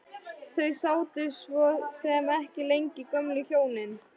Þau sátu svo sem ekki lengi gömlu hjónin.